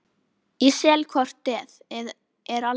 Ég sel hvort eð er aldrei neitt.